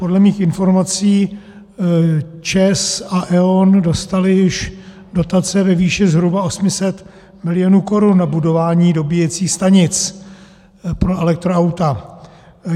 Podle mých informací ČEZ a E.ON dostaly již dotace ve výši zhruba 800 milionů korun na budování dobíjecích stanic pro elektroauta.